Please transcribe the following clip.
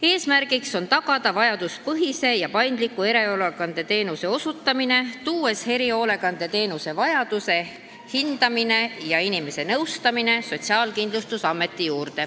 Eesmärk on tagada vajaduspõhise ja paindliku erihoolekandeteenuse osutamine ning selleks hakatakse erihoolekandeteenuse vajadust hindama ja inimest nõustama Sotsiaalkindlustusametis.